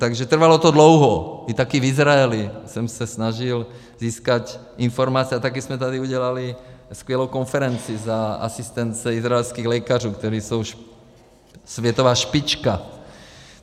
Takže trvalo to dlouho, i taky v Izraeli jsem se snažil získat informace a taky jsme tady udělali skvělou konferenci za asistence izraelských lékařů, kteří jsou už světová špička.